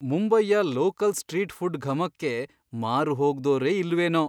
ಮುಂಬೈಯ local street food ಘಮಕ್ಕೆ ಮಾರುಹೋಗ್ದೋರೇ ಇಲ್ವೇನೋ!